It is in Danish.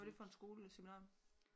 Hvad var det for en skole seminarium